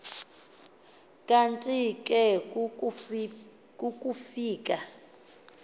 kanti ke kukufika